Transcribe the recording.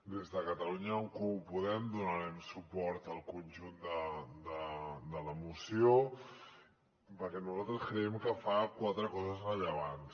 des de catalunya en comú podem donarem suport al conjunt de la moció perquè nosaltres creiem que fa quatre coses rellevants